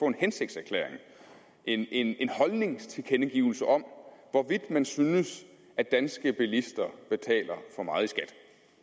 en hensigtserklæring en en holdningstilkendegivelse om hvorvidt man synes at danske bilister betaler for meget i skat